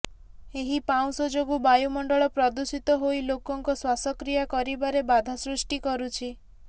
ଏହି ପାଉଁଶ ଯୋଗୁଁ ବାୟୁମଣ୍ଡଳ ପ୍ରଦୂଷିତ ହୋଇ ଲୋକଙ୍କ ଶ୍ୱାସକ୍ରିୟା କରିବାରେ ବାଧା ସୃଷ୍ଟି କରୁଛି